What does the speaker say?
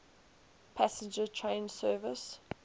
passenger train service